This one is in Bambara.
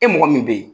E mɔgɔ min bɛ ye